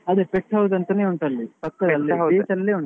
ಅದೆ pet house ಅಂತಾನೆ ಉಂಟು ಅಲ್ಲಿ beach ಅಲ್ಲೇ ಉಂಟು.